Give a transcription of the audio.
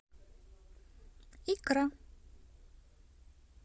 икра